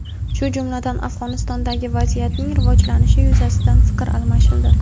shu jumladan Afg‘onistondagi vaziyatning rivojlanishi yuzasidan fikr almashildi.